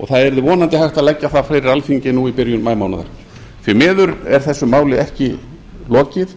og það yrði vonandi hægt að leggja það fyrir alþingi nú í byrjun maímánaðar því miður er þessu máli ekki lokið